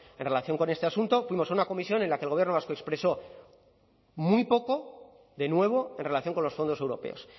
en relación con este asunto fuimos a una comisión en la que el gobierno vasco expresó muy poco de nuevo en relación con los fondos europeos